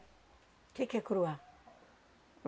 Que que é curuá?